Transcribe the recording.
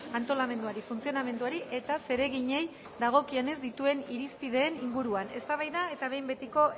antolamenduari funtzionamenduari eta zereginei dagokienez dituen irizpideen inguruan eztabaida eta behin betiko